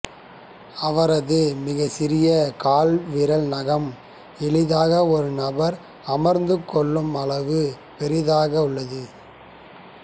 அவரது மிகச்சிறிய கால் விரல் நகம் எளிதாக ஒரு நபர் அமர்ந்துகொள்ளும் அளவு பெரியதாகவுள்ளது